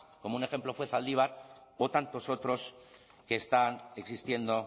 como un ejemplo fue zaldívar o tantos otros que están existiendo